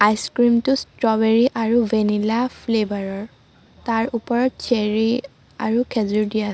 Ice cream টো strawberry আৰু vanilla flavour ৰ তাৰ ওপৰত চেৰী আৰু খেজুৰ দিয়া আছে।